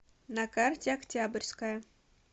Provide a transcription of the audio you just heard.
на карте октябрьская